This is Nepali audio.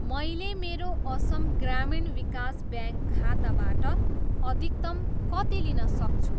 मैले मेरो असम ग्रामीण विकास ब्याङ्क खाताबाट अधिकतम कति लिन सक्छु?